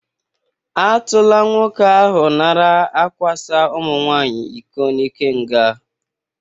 A tụla nwoke ahụ nara akwasa ụmụnwaanyị iko n'ike nga.